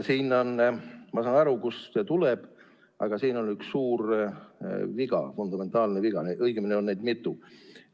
Ma saan aru, kust see tuleb, aga siin on üks suur viga, fundamentaalne viga, õigemini on neid mitu.